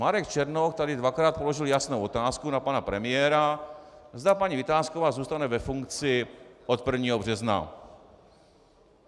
Marek Černoch tady dvakrát položil jasnou otázku na pana premiéra, zda paní Vitásková zůstane ve funkci od 1. března.